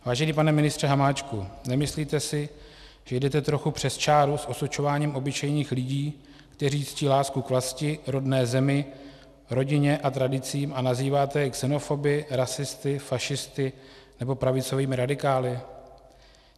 Vážený pane ministře Hamáčku, nemyslíte si, že jdete trochu přes čáru s osočováním obyčejných lidí, kteří ctí lásku k vlasti, rodné zemi, rodině a tradicím a nazýváte je xenofoby, rasisty, fašisty nebo pravicovými radikály?